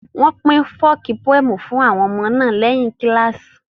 Wọ́n pín folk poems fún àwọn ọmọ náà lẹ́yìn kíláàsì